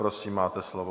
Prosím, máte slovo.